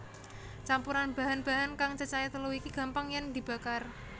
Campuran bahan bahan kang cacahé telu iki gampang yèn dibakar